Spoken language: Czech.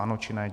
Ano, či ne?